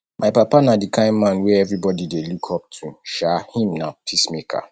my papa na di kind man wey everybodi dey look up to um him na peacemaker